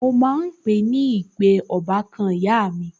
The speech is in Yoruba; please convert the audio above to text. Mo máa ń pe ń pe ọbàkan ìyá mi